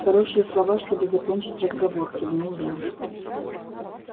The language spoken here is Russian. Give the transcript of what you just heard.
хорошие слова чтобы закончить разговор кивнул я